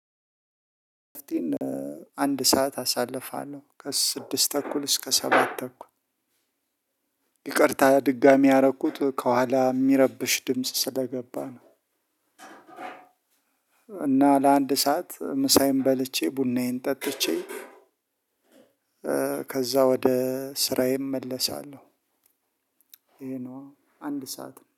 አንድ ሰዓት አሳልፋለሁ ከስድስት ተኩል እስከ ሰባት ተኩል ይቅርታ ድጋሚ ያረኩት ከኋላ የሚረብሽ ድምጽ ስለገባ ነው። እና ለአንድ ሰዓት ምሳዬን በልቼ ቡናዬን ጠጥቼ ከዛ ወደ ስራዬ እመለሳለሁ። ይሄ ነው አንድ ሰዓት